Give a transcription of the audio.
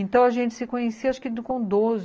Então, a gente se conhecia acho que com doze